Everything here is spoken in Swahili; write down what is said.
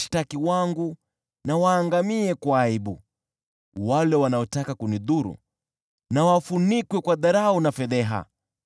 Washtaki wangu na waangamie kwa aibu, wale wanaotaka kunidhuru na wafunikwe kwa dharau na fedheha.